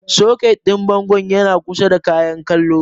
Soket ɗin bangon yan kusa da Kayan kallon.